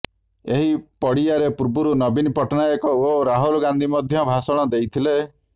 ଏହି ପଡିଆରେ ପୂର୍ବରୁ ନବୀନ ପଟ୍ଟନାୟକ ଓ ରାହୁଲ ଗାନ୍ଧୀ ମଧ୍ୟ ଭାଷଣ ଦେଇଥିଲେ